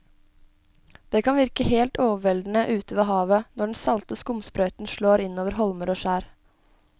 Det kan virke helt overveldende ute ved havet når den salte skumsprøyten slår innover holmer og skjær.